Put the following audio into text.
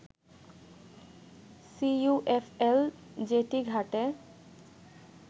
CUFL jetty ঘাটে